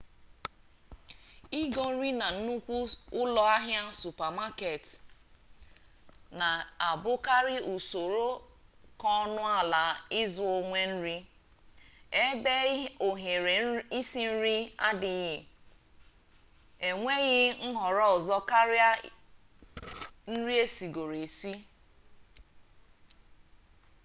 igo nri na nnukwu ụlọ ahịa supamaket na abụkarị usoro ka ọnụ ala ịzụ onwe nri ebe ohere isi nri adịghị enweghị nhọrọ ọzọ karịa nri esigoro esi